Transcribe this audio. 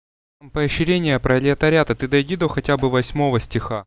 поощрение пролетариата ты дойди до хотя бы до восьмого стиха